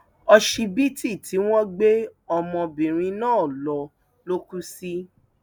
òṣìbìtì tí wọn gbé ọmọbìnrin náà lọ ló kù sí